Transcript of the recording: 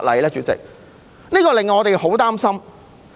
主席，這真的令我們很擔心。